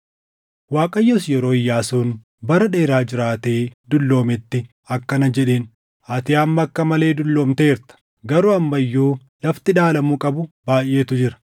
Waaqayyos yeroo Iyyaasuun bara dheeraa jiraatee dulloometti akkana jedheen; “Ati amma akka malee dulloomteerta; garuu amma iyyuu lafti dhaalamuu qabu baayʼeetu jira.